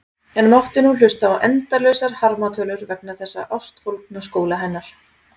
En mátti nú hlusta á endalausar harmatölur vegna þessa ástfólgna skóla hennar.